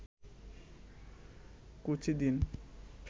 কুচি দিন